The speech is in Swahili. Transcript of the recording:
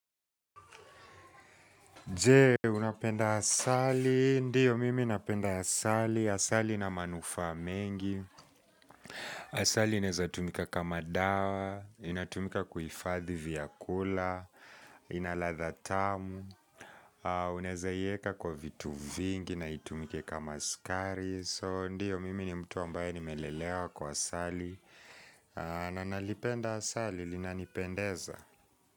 Je, unapenda asali? Ndiyo mimi napenda asali, asali ina manufaa mengi Asali inaeza tumika kama dawa, inatumika kuhifadhi vyakula, ina ladha tamu Unaezaiweka kwa vitu vingi na itumike kama sukari. So, ndiyo mimi ni mtu ambaye nimelelewa kwa asali na nalipenda asali, linanipendeza.